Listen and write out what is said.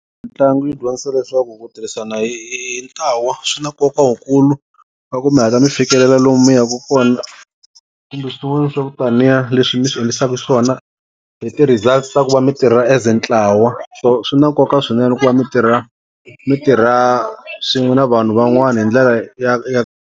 Mitlangu yi dyondzisa leswaku ku tirhisana hi hi hi ntlawa swi na nkoka wukulu wa ku mi hatla mi fikelela lomu mi yaka kona kambe swin'wana swa ku taniya leswi mi swi endlisaka swona hi ti-results ta ku va mitirha as ntlawa so swi na nkoka swinene ku va mi tirha mi tirha swin'we na vanhu van'wana hi ndlela ya ya.